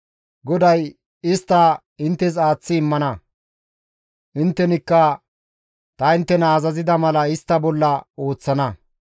GODAY istta inttes aaththi immana; inttenikka ta inttena azazida mala istta bolla ooththana.